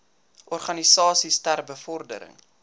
organisasies ter bevordering